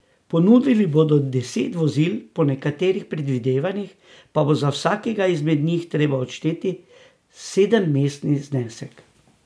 Ponudili bodo deset vozil, po nekaterih predvidevanjih pa bo za vsakega izmed njih treba odšteti sedemmestni znesek.